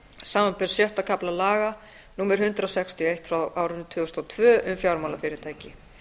samanber sjötta kafla laga númer hundrað sextíu og eitt tvö þúsund og tvö um fjármálafyrirtæki